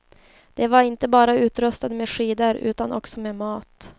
De var inte bara utrustade med skidor utan också med mat.